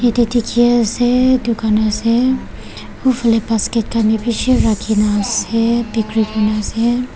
yatey dikhi ase dukan ase uphale basket khan wi bishi rakhina ase bikri kuriwole ase.